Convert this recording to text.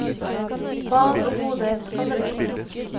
Bad og boder skal det bli.